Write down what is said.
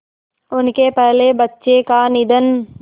उनके पहले बच्चे का निधन